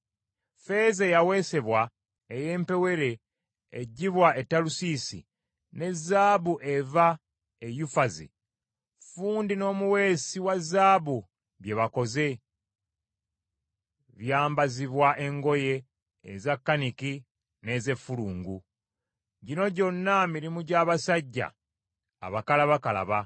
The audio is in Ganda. Ffeeza eyaweesebwa ey’empewere eggyibwa e Talusiisi, ne zaabu eva e Yufazi, ffundi n’omuweesi wa zaabu bye bakoze byambazibwa engoye eza kaniki ne z’effulungu. Gino gyonna mirimu gy’abasajja abakalabakalaba.